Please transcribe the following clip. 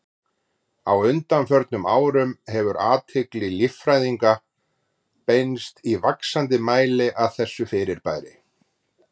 Á undanförnum árum hefur athygli líffræðinga beinst í vaxandi mæli að þessu fyrirbæri.